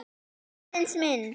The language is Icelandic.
Aðeins mynd.